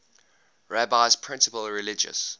rabbi's principal religious